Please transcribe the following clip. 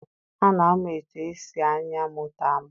A na-amụ etu esi anya moto amụ.